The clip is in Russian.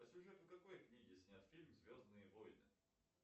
по сюжету какой книги снят фильм звездные войны